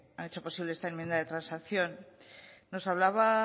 han hecho posible esta enmienda de transacción nos hablaba